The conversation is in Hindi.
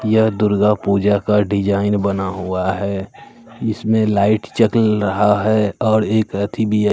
यह दुर्गा पूजा का डिजाइन बना हुआ है इसमें लाइट चक्ल रहा है और एक अथी भी है।